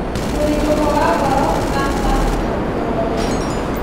Mũthitũko wa ngoro, kansa, na nguraro nene